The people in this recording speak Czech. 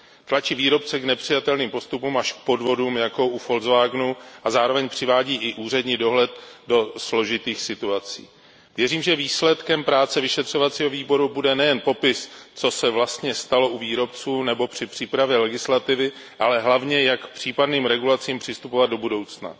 Tlačí výrobce k nepřijatelným postupům až k podvodům, jako u VW, a zároveň přivádí i úřední dohled do složitých situací. Věřím, že výsledkem práce vyšetřovacího výboru bude nejen popis, co se vlastně stalo u výrobců nebo při přípravě legislativy, ale hlavně, jak k případným regulacím přistupovat do budoucna.